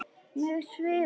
Mig svimar.